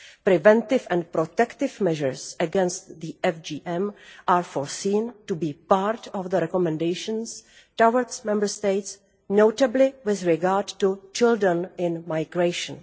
Preventive and protective measures against FGM are foreseen to be part of the recommendations towards Member States, notably with regard to children in migration.